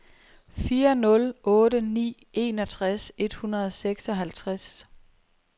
fire nul otte ni enogtres et hundrede og seksoghalvtreds